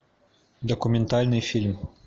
документальный фильм